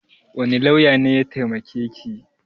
Wane lauya ne taimake ki?